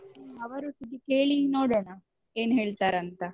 ಹ್ಮ್ ಅವರೊಟ್ಟಿಗೆ ಕೇಳಿ ನೋಡೋಣ ಏನ್ ಹೇಳ್ತಾರಂತ.